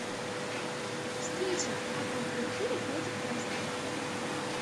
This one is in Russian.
встреча апл ливерпуля против вест хэма